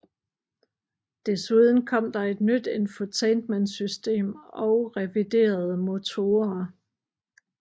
Desuden kom der et nyt infotainmentsystem og reviderede motorer